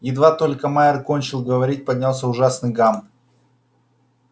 едва только майер кончил говорить поднялся ужасный гам